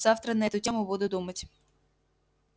завтра на эту тему буду думать